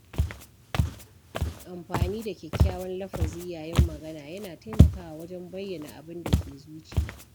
Amfani da kyakkyawan lafazi yayin magana yana taimakawa wajen bayyana abin da ke zuciya.